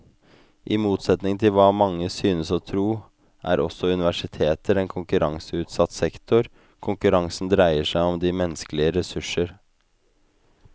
I motsetning til hva mange synes å tro, er også universiteter en konkurranseutsatt sektor, konkurransen dreier seg om de menneskelige ressurser.